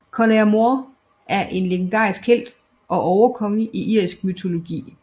Conaire Mór er en legendarisk helt og overkonge i irsk mytologi